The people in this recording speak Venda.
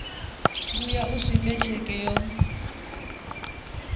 vhuya u swika tsheke yo